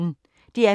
DR P1